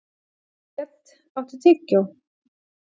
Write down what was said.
Grét, áttu tyggjó?